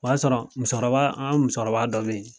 O y'a sɔrɔ musokɔrɔba an ka musokɔrɔba dɔ be yen